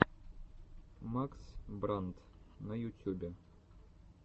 макс брандт на ютюбе